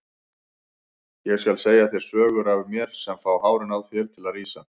Ég skal segja þér sögur af mér sem fá hárin á þér til að rísa.